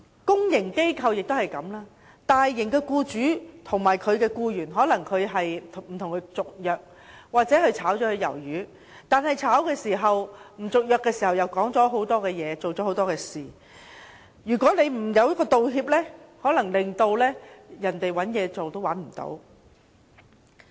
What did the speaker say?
公營機構也一樣，大型機構的僱主不與僱員續約或將其解僱，但同時又說了很多說話或做了很多事，如果沒有道歉機制，可能令該僱員難以再找工作。